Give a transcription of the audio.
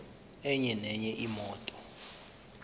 enye nenye imoto